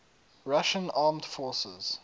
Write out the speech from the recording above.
russian armed forces